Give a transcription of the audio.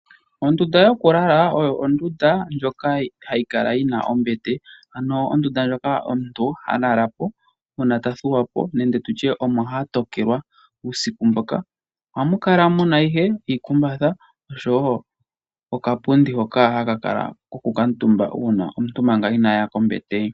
Ondunda yokulala oyo ondunda moka hamu kala mu na ombete, ano ondunda moka omuntu ha lala po uuna ta thuwa po nenge tutye omo ha tokelwa uusiku mboka. Ohamu kala mu na ihe iikumbatha, oshowo okapundi hoka haku kuutumbwa manga omuntu inaa ya kombete.